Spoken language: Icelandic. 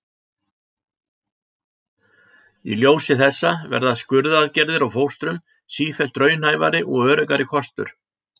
Í ljósi þessa verða skurðaðgerðir á fóstrum sífellt raunhæfari og öruggari kostur.